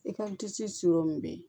I ka disi bɛ yen